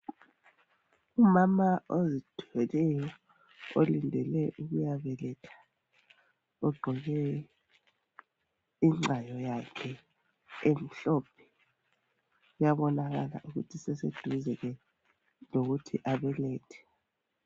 Umama ozithweleyo, olindele ukuyabeletha. Ogqoke ingcayo yakhe emhlophe. Uyabonakala, ukuthi useseduze lokuthi abelethe.